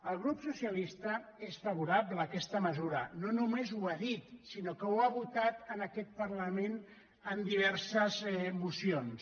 el grup socialista és favorable a aquesta mesura no només ho ha dit sinó que ho ha votat en aquest parlament en di·verses mocions